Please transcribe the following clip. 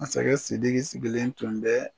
Masakɛ Sidiki sigilen tun dɛ